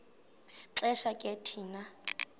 xesha ke thina